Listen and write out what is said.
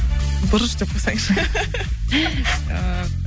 бұрыш деп қойсаңызшы